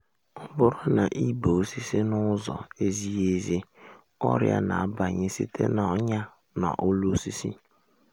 ọ bụrụ na i bee osisi na-ụzọ ezighi ezi ọrịa na-abanye site na’ọnyà n’olu osisi.